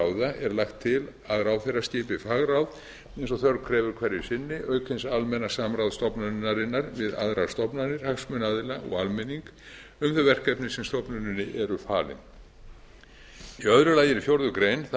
ráða er lagt til að ráðherra skipi fagráð eins og þörf krefur hverju sinni auk hins almenna samráðs stofnunarinnar við aðrar stofnanir hagsmunaaðila um þau verkefni sem stofnuninni eru falin í öðru lagi er í fjórða grein það